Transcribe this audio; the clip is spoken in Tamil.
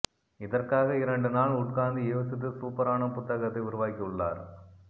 இதற்காக இரண்டு நாள் உட்கார்ந்து யோசித்து சூப்பரான புத்தகத்தை உருவாக்கி உள்ளார்